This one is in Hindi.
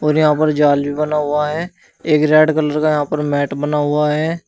और यहां पर जाल भी बना हुआ है एक रेड कलर का यहां पर मैट बना हुआ है।